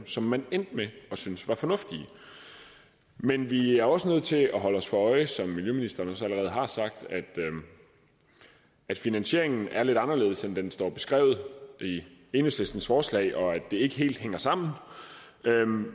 som man endte med at synes var fornuftigt men vi er også nødt til at holde os for øje som miljøministeren også allerede har sagt at finansieringen er lidt anderledes end den står beskrevet i enhedslistens forslag og at det ikke helt hænger sammen